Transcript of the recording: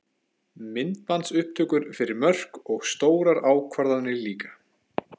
Myndbandsupptökur fyrir mörk og stórar ákvarðanir líka?